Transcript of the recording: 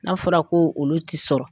N'a fɔra ko olu tɛ sɔrɔ